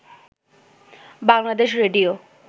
Bangladesh radio